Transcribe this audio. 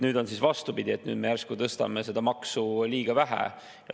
Nüüd on siis vastupidi, et me järsku tõstame seda maksu liiga vähe.